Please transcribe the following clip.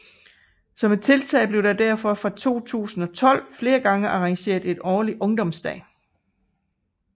Som et tiltag blev der derfor fra 2012 flere gange arrangeret en årlig ungdomsdag